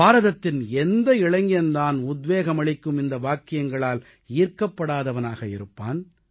பாரதத்தின் எந்த இளைஞன் தான் உத்வேகமளிக்கும் இந்த வாக்கியங்களால் ஈர்க்கப்படாதவனாக இருப்பான்